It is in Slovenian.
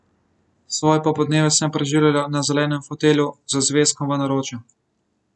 Svoje popoldneve sem preživljala na zelenem fotelju z zvezkom v naročju.